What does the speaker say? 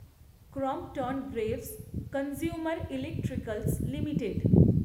Crompton Greaves consumer electricals limited